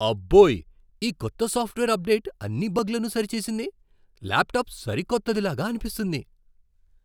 అబ్బోయ్, ఈ కొత్త software update అన్ని బగ్లను సరిచేసింది. ల్యాప్టాప్ సరికొత్తది లాగా అనిపిస్తుంది!